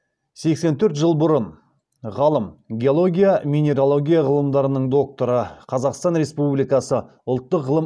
сексен төрт жыл бұрын ғалым геология минералогия ғылымдарының докторы қазақстан республикасы ұлттық ғылым